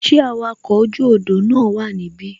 Ṣé awakọ̀ oju odò na wa nibi?